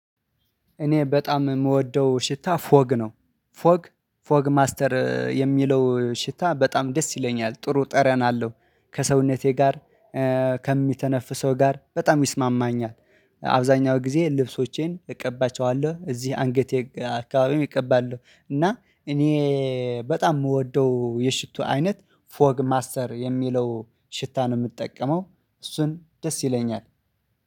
እኔ በጣም የምወደው ሽታ ፎግ ነው። ፎግ ፎግ ማስተር የሚለው ሽታ በጣም ደስ ይለኛል ጥሩ ጠረን አለው ከሰውነቴ ጋር ከሚተነፍሰው ጋር በጣም ይስማማኛል። አብዛኛው ጊዜ ልብሶቼን እቀባቸዋለሁ እዚህ አንገቴ አካባቢም እቀባለሁ እና እኔ በጣም የምወደው የሽቶ አይነት ፎግ ማስተር የሚለው ሽታ ነው የምጠቀመው። እሱን ደስ ይለኛል።